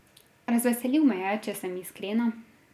Razveselil me je, če sem iskrena.